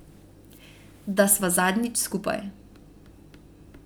Da sva zadnjič skupaj.